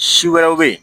Si wɛrɛw bɛ yen